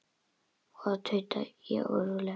Ó, tauta ég óróleg.